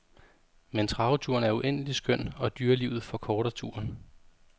Men traveturen er uendelig skøn og dyrelivet forkorter turen.